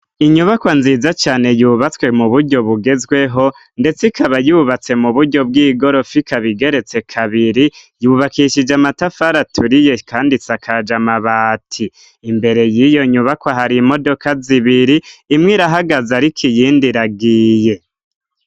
Inyubakwa nziza cane yubatswe mu buryo bugezweho, ndetse ikaba yubatse mu buryo bw'igorofa, ikaba igeretse kabiri yubakishije amatafari aturiye kandi isakaje amabati. Imbere y'iyo nyubakwa hari imodoka zibiri, imwe irahagaza ariko iyindi iragiye.